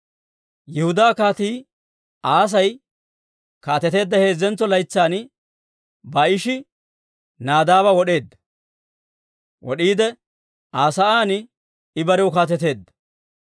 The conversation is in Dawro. Yihudaa Kaatii Aasi kaateteedda heezzentso laytsan Baa'ishi Nadaaba wod'iide Aa sa'aan I barew kaateteedda.